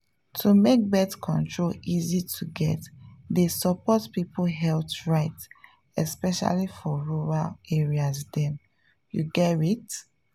to make birth control easy to get dey support people health rights especially for rural area dem… you gerrit?